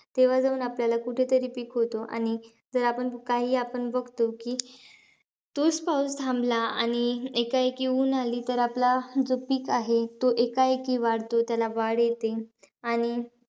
तेव्हा जाऊन आपल्याला कुठेतरी पीक होतो. आणि जर आपण काही बघतो की, तोच पाऊस थांबला. आणि एकाएकी ऊन आली तर, आपला जो पीक आहे तो एकाएकी वाढतो. त्याला वाढ येते आणि,